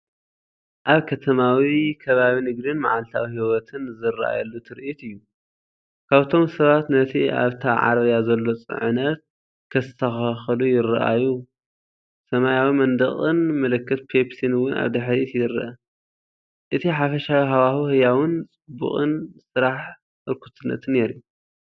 ኣብ ከተማዊ ከባቢ ንግድን መዓልታዊ ህይወትን ዝረኣየሉ ትርኢት እዩ። ካብቶም ሰባት ነቲ ኣብታ ዓረብያ ዘሎ ጽዕነት ከስተኻኽሉ ይረኣዩ። ሰማያዊ መንደቕን ምልክት ፔፕሲን እውን ኣብ ድሕሪት ይርአ። እቲ ሓፈሻዊ ሃዋህው ህያውን ጽዑቕን ስራሕ ህርኩትነትን የርኢ።